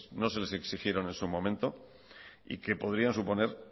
no se les exigieron en su momento y que podrían suponer